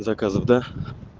заказов да